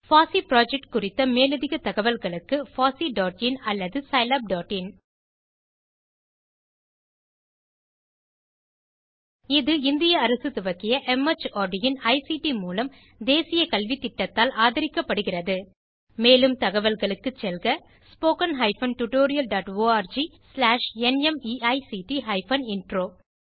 பாசி புரொஜெக்ட் குறித்த மேலதிக தகவல்களுக்கு fosseeஇன் அல்லது scilabஇன் இது இந்திய அரசு துவக்கிய மார்ட் இன் ஐசிடி மூலம் தேசிய கல்வித்திட்டத்தால் அதரிக்கப்படுகிறது மேலும் தகவல்களுக்கு செல்க spoken hyphen tutorial dot org slash நிமைக்ட் ஹைபன் இன்ட்ரோ